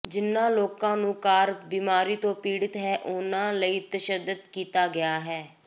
ਜਿਨ੍ਹਾਂ ਲੋਕਾਂ ਨੂੰ ਕਾਰ ਬਿਮਾਰੀ ਤੋਂ ਪੀੜਤ ਹੈ ਉਨ੍ਹਾਂ ਲਈ ਤਸ਼ੱਦਦ ਕੀਤਾ ਗਿਆ ਹੈ